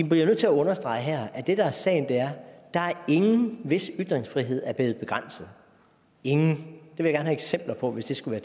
bliver nødt til at understrege her at det der er sagen er der er ingen hvis ytringsfrihed er blevet begrænset ingen hvis det skulle